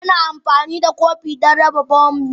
Ina amfani da kopi don raba bommi.